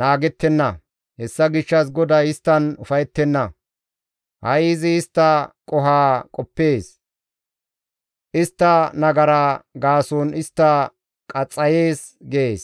naagettenna. Hessa gishshas GODAY isttan ufayettenna; ha7i izi istta qoho qoppees; istta nagara gaason istta qaxxayees» gees.